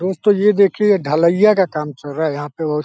दोस्तों ये देखिये ढलैया का काम चल रहा है यहाँ पे और --